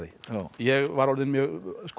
ég var orðinn mjög